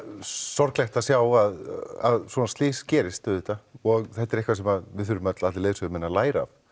sorglegt að sjá að svona slys gerist auðvitað og þetta er eitthvað sem við þurfum öll allir leiðsögumenn að læra af